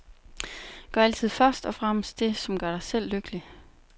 Gør altid først og fremmest det, som gør dig selv lykkelig.